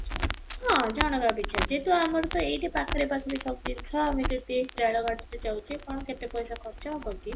ହଁ, ଜଣକ ପିଛା ଯେହେତୁ ଆମର ତ ଏଇଠୁ ପାଖରେ ପାଖରେ ସବୁ ଜିନିଷ ଆମେ ତେଇଶ ଜଣ ଖଣ୍ଡେ ଯାଉଛେ କ'ଣ କେତେ ପଇସା ଖର୍ଚ୍ଚ ହବ କି?